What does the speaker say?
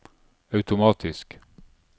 automatisk